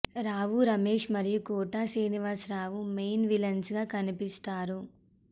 రావు రమేష్ మరియు Kota Srinivas Rao main villains గా కనిపిస్తారు